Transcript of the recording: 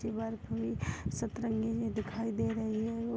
तिबार की सतरंगी दिखाई दे रही है वो।